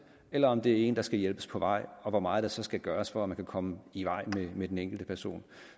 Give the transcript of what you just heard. eller om det er en person der skal hjælpes på vej og hvor meget der så skal gøres for at man kan komme i vej med den enkelte person